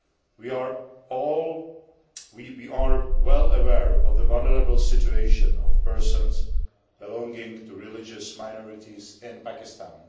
We are well aware of the vulnerable situation of persons belonging to religious minorities in Pakistan